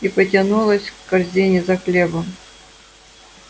и потянулась к корзине за хлебом